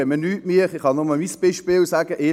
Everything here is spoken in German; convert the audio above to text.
Ich kann Ihnen nur mein Beispiel erläutern: